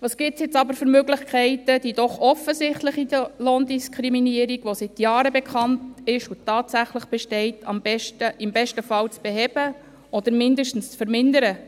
Welche Möglichkeiten gibt es jetzt, um die doch offensichtliche Lohndiskriminierung, die seit Jahren bekannt ist und tatsächlich besteht, im besten Fall zu beheben oder zumindest zu vermindern?